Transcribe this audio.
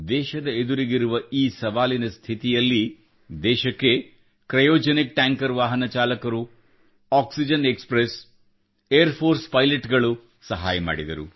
ದೇಶದ ಎದುರಿಗಿರುವ ಈ ಸವಾಲಿನ ಸ್ಥಿತಿಯಲ್ಲಿ ದೇಶಕ್ಕೆ ಕ್ರಯೋಜೆನಿಕ್ ಟ್ಯಾಂಕರ್ ವಾಹನ ಚಾಲಕರು ಆಕ್ಸಿಜನ್ ಎಕ್ಸ್ಪ್ರೆಸ್ ಏರ್ ಫೋರ್ಸ್ ನ ಪೈಲಟ್ ಗಳು ಸಹಾಯ ಮಾಡಿದರು